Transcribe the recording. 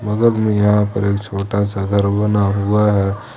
बगल में यहां पर एक छोटा सा घर बना हुआ है।